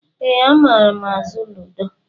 Ee, amaara azụ ludo.